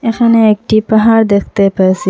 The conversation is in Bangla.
এখানে একটি পাহাড় দেখতে পেয়েসি।